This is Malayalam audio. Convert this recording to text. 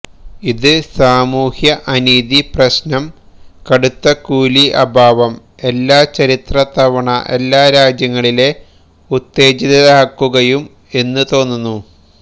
ഇത് സാമൂഹ്യ അനീതി പ്രശ്നം കടുത്ത കൂലി അഭാവം എല്ലാ ചരിത്ര തവണ എല്ലാ രാജ്യങ്ങളിലെ ഉത്തേജിതരാക്കുകയും എന്ന് തോന്നുന്നു